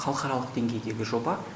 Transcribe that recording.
халықаралық деңгейдегі жоба